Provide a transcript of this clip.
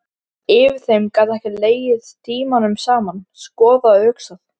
Yfir þeim gat hann legið tímunum saman, skoðað og hugsað.